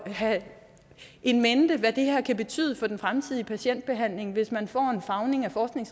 have in mente hvad det her kan betyde for den fremtidige patientbehandling hvis man får en farvning af